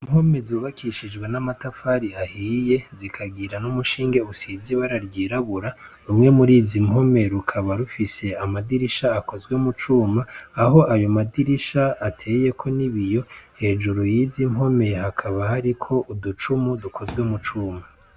Impome zibakishijwe n'amatafari ahiye zikagira n'umushinge usize ibara ryirabura , rumwe murizi mpome rukaba rufise amadirisha akozwe mu cuma aho ayo madirisha ateyeko n'ibiyo , hejuru y'izi mpome hakaba hariko uducumu dukozwe mu cuma.